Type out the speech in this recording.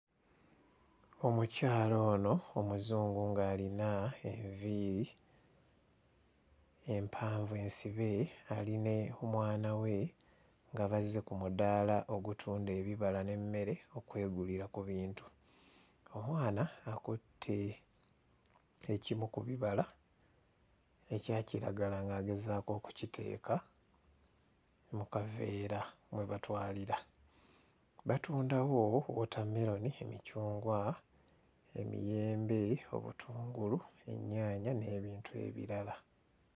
Omukyala ono Omuzungu ng'alina enviiri empanvu ensibe ali ne omwana we nga bazze ku mudaala ogutunda ebibala n'emmere okwegulira ku bintu. Omwana akutte ekimu ku bibala ekya kiragala ng'agezaako okukiteeka mu kaveera mwe batwalira. Batundawo wootammeroni, emicungwa, emiyembe, obutungulu, ennyaanya n'ebintu ebirala.